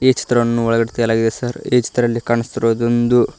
ಈ ಚಿತ್ರವನ್ನು ಒಳಗಡೆ ತೆಗೆಯಲಾಗಿದೆ ಸಾರ್ ಈ ಚಿತ್ರದಲ್ಲಿ ಕಾಣುಸ್ತಿರುವುದೊಂದು--